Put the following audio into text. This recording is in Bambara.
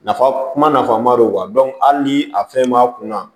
Nafa kuma na nafaba de don ali ni a fɛn m'a kunna